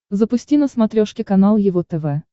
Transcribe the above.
запусти на смотрешке канал его тв